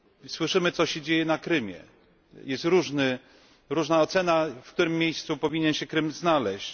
Słyszymy o tym, co się dzieje na Krymie, jest różna ocena tego, w którym miejscu powinien się Krym znaleźć.